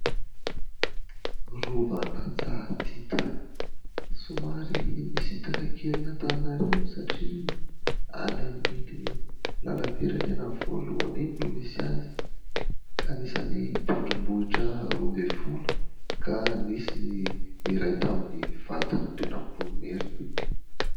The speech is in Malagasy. Rovan'Antsahadita, somary misintaka kely an'Antananarivo satria any amin'iny lalam-pirenena voalohany iny no misy azy. Anisany tendrombohitra roa ambin'ny folo ka nisy ny iray tamin'ny vadin'Andrinampoinimerina.